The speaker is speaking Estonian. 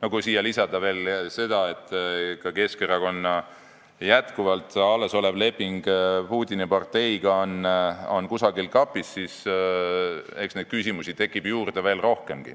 Kui siia lisada see, et Keskerakonna leping Putini parteiga on jätkuvalt kusagil kapis, siis eks neid küsimusi tekib veel rohkemgi.